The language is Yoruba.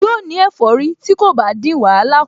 Yóò ní ẹ̀fọ́rí tí kò bá dín wàhálà kù